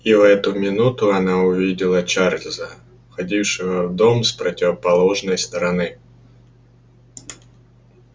и в эту минуту она увидела чарлза входившего в дом с противоположной стороны